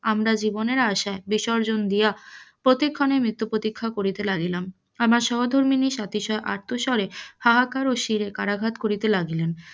আমরা জীবনের আশা বিসর্জন দিয়া প্রতিক্ষণে মৃত্যু প্রতীক্ষা করিতে লাগিলাম, আমার সহধর্মিনী সাথিয়ার আর্তিস্বরে হাহাকার ও শিরে করাঘাত করিতে লাগিলেন,